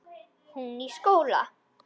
Hún í skóla.